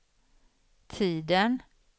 tiden